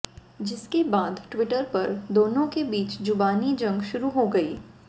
जिसके बाद ट्विटर पर दोनों के बीच जुबानी जंग शुरू हो गई